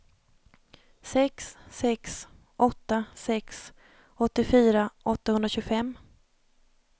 sex sex åtta sex åttiofyra åttahundratjugofem